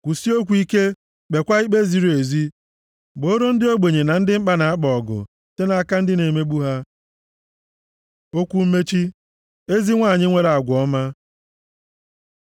Kwusie okwu ike, kpeekwa ikpe ziri ezi. Gbooro ndị ogbenye na ndị mkpa na-akpa ọgụ site nʼaka ndị na-emegbu ha. Okwu mmechi: Ezi nwanyị nwere agwa ọma